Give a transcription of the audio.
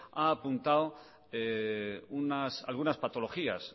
ha apuntado algunas patologías